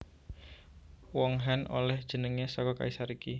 Wong Han olèh jenengé saka kaisar iki